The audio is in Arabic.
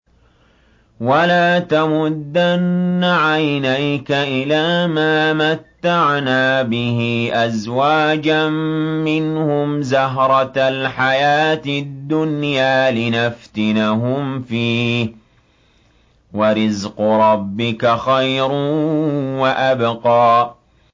وَلَا تَمُدَّنَّ عَيْنَيْكَ إِلَىٰ مَا مَتَّعْنَا بِهِ أَزْوَاجًا مِّنْهُمْ زَهْرَةَ الْحَيَاةِ الدُّنْيَا لِنَفْتِنَهُمْ فِيهِ ۚ وَرِزْقُ رَبِّكَ خَيْرٌ وَأَبْقَىٰ